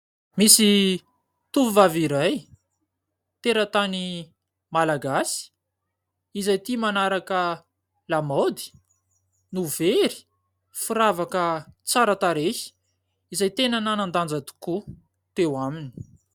Misy tovovavy iray teratany malagasy, izay tia manaraka lamaody, no very firavaka tsara tarehy izay tena nanan-danja tokoa teo aminy.